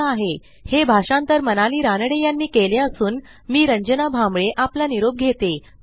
ह्या ट्युटोरियलचे भाषांतर मनाली रानडे यांनी केले असून मी रंजना भांबळे आपला निरोप घेते